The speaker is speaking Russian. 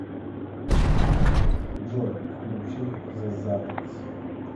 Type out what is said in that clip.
джой включи зе затонс